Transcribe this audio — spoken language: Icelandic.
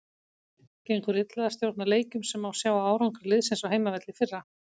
Gengur illa að stjórna leikjum sem má sjá á árangri liðsins á heimavelli í fyrra.